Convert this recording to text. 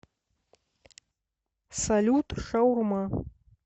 салют шаурма